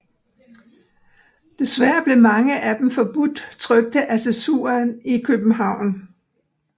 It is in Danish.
Desværre blev mange af dem forbudt trykte af censuren i København